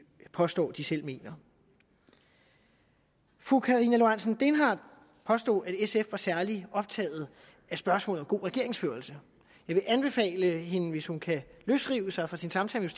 påstår de selv mener fru karina lorentzen dehnhardt påstod at sf var særligt optaget af spørgsmål om god regeringsførelse jeg vil anbefale hende hvis hun kan løsrive sig fra sin samtale